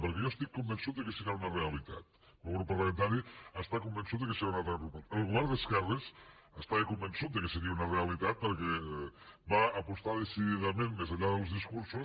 perquè jo estic convençut que serà una realitat el meu grup parlamentari està convençut que serà una realitat el govern d’esquerres estava convençut que seria una rea litat perquè va apostar decididament més enllà dels discursos